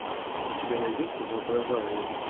у тебя найдется воображариум